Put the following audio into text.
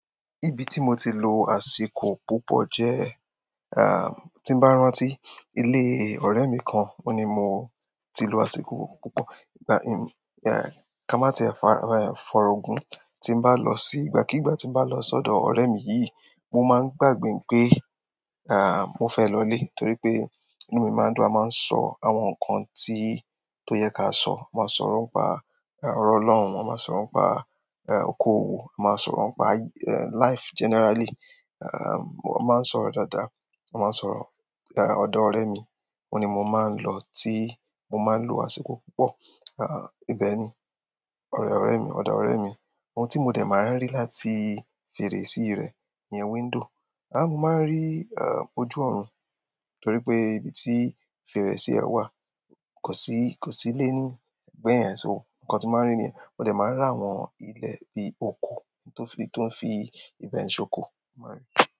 Ibi tí mo ti lò àsìkò púpọ̀ jẹ, tí n bá rántí, ilé ọrẹ mi kan. Oun ni mo ti lò àsìkò púpọ̀. Ìgbà, ká má ti ẹ fa ọrọ gun. Tí n bá lọ sí, ìgbà kúgbà tí n bá lọ sọ́dọ̀ ọ̀rẹ́ mi yìí, mo má ń gbàgbé pé, mo fẹ́ lọ ilé. Torípé, inú mi má ń dùn. A má ń sọ àwọn ǹkan tí, tó yẹ ká sọ. A má sọ̀rọ̀ nípa, ọ̀rọ̀ ọlọ́run, a má sọ̀rọ̀ nípa okoòwò, a má sọ̀rọ̀ pa life generally. A má ń sọ̀rọ̀ dada. A má ń sọ̀rọ̀, ọdọ ọ̀rẹ́ mi. Ò ni mo má ń lọ ti, mo má ń lò àsìkò púpọ̀. Ibẹ ni. Ọ̀dọ̀ ọ̀rẹ́ mi, ọdọ ọrẹ mi. Ohun tí mo dẹ má ń rí láti feresi rẹ, ní window. Mo má ń rí ojú ọ̀run, torí pé ibi tí fèrèsé rẹ̀ wà, kò sí ilé ní ẹgbẹ yẹn, so nkan tí má ń rí nìyẹn, mo dẹ má ń rí àwọn ilé bí oko, tó fi ibẹ ń soko, mo má ń rí.